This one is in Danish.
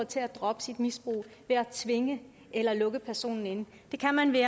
til at droppe sit misbrug ved at tvinge eller lukke personen inde det kan man ved